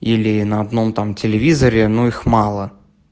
или на одном там телевизоре но их мало